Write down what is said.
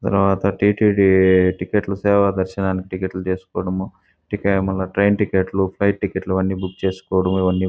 తర్వాత టీటీడీ టిక్కెట్లు సేవ దర్శనాన్ని టిక్కెట్ లు తీసుకోవడము టికెట్ మల్ల ట్రైన్ టికెట్ ఫ్లైట్ టికెట్ అన్ని బుక్ చేసుకోవడం అవన్ని --